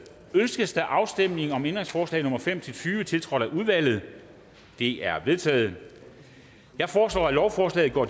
ønskes afstemning om ændringsforslag nummer fem tyve tiltrådt af udvalget de er vedtaget jeg foreslår at lovforslaget går